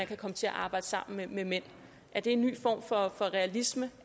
kan komme til at arbejde sammen med mænd er det en ny form for realisme